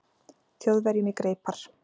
Þjóðverjum í greipar.